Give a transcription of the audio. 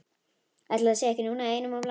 Ætli það sé nú ekki einum of langsótt!